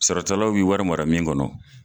Sarata law ye wari mara min kɔnɔ.